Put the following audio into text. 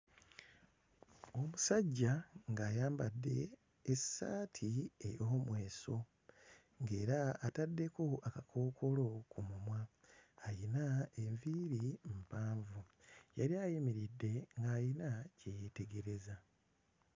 Omusajja ng'ayambadde essaati ey'omweso era ataddeko akakookolo ku mumwa, ayina enviiri mpanvu era ayimiridde ayina kye yeetegereza.